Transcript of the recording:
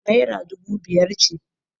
Naira dubu biyar ce.